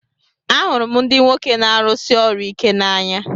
Ahụrụ m ndị nwoke na-arụsi ọrụ ike n'anya